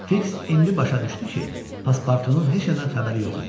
Fiks indi başa düşdü ki, Paspartunun heç nədən xəbəri yox imiş.